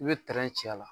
I bɛ ci a la